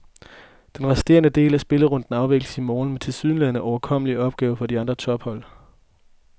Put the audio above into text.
Den resterende del af spillerunden afvikles i morgen med tilsyneladende overkommelige opgaver for de andre tophold.